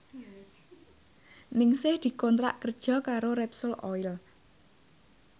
Ningsih dikontrak kerja karo Repsol Oil